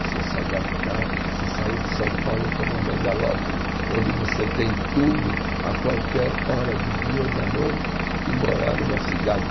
Você se adaptar, você sair de São Paulo, que é uma megalópole, onde você tem tudo a qualquer hora do dia ou da noite, e morar numa cidade.